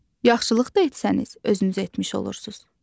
Yaxşılıq da etsəniz, özünüzə etmiş olursuz.